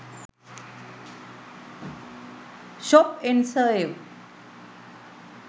shop n save